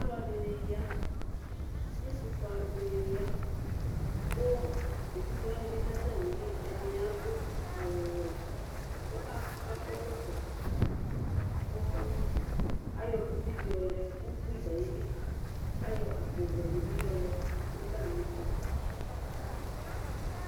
Alʋɛdì ya, ɛtʋfʋe alʋɛdìní ya kʋ evidze wani bi du atami li Ɛdiní adu awu wɛ kʋ akɔ ɛkɔtɔ Ayɔ kusi di yɔ lɛ kʋ ʋkpi du ayìlí Ayɔ akpo vɛ di bi yɔ lɛ nʋ atami ɛtu